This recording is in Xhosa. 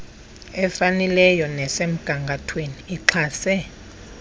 efanelileyo nesemgangathweni ixhase